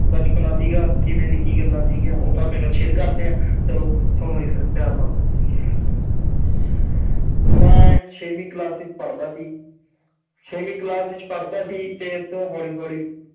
ਬਚਪਨਾ ਸੀਗਾ ਕਿਵੇਂ ਦੀ ਕੀ ਗੱਲਾਂ ਸੀਗੀਆਂ, ਉਹ ਤੁਹਾਡੇ ਨਾਲ share ਕਰਦੇ ਹਾਂ ਚਲੋ ਸੁਣੋ ਜੀ ਫਿਰ ਪਿਆਰ ਨਾਲ ਮੈਂ ਛੇਵੀਂ class ਵਿੱਚ ਪੜ੍ਹਦਾ ਸੀ ਛੇਵੀਂ class ਵਿੱਚ ਪੜ੍ਹਦਾ ਸੀ ਤੇ ਇੱਥੋਂ ਹੌਲੀ ਹੌਲੀ